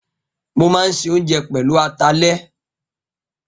Mo máa ń se oúnjẹ pẹ̀lú atalẹ̀